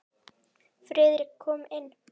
Friðrik kom inn.